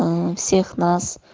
ээ всех нас